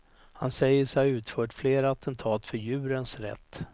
Han säger sig ha utfört flera attentat för djurens rätt.